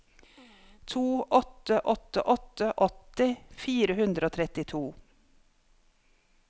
to åtte åtte åtte åtti fire hundre og trettito